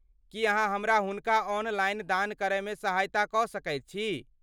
की अहाँ हमरा हुनका ऑनलाइन दान करयमे सहायता कऽ सकैत छी?